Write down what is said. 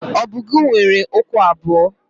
ọbọgwụ nwere ụkwụ abụọ